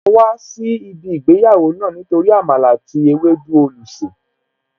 Máa wà níbí ìgbéyàwó náà Nítorí Àmàlà àti ewédú olùsè